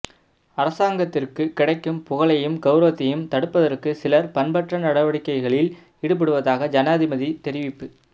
அரசாங்கத்திற்கு கிடைக்கும் புகழையும் கௌரவத்தையும் தடுப்பதற்கு சிலர் பண்பற்ற நடவடிக்கைகளில் ஈடுபடுவதாக ஜனாதிபதி தெரிவிப்பு